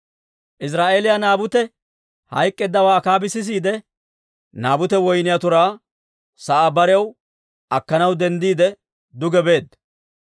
Iziraa'eeliyaa Naabute hayk'k'eeddawaa Akaabi sisiide, Naabute woyniyaa turaa sa'aa barew akkanaw denddiide, duge beedda.